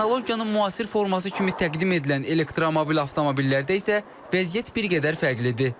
Texnologiyanın müasir forması kimi təqdim edilən elektromobil avtomobillərdə isə vəziyyət bir qədər fərqlidir.